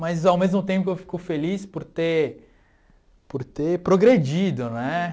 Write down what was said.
Mas, ao mesmo tempo, eu fico feliz por ter por ter progredido né.